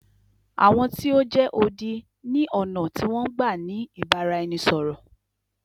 Àwọn tí o jẹ́ odi ni ọ̀nà tí wọn n gbá ni ìbáraẹnisọ̀rọ̀.